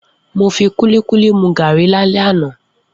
Mo fi kúlíkúlí mu gàárì lálé àná